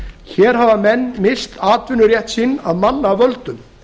hér hafa menn misst atvinnurétt sinn af mannavöldum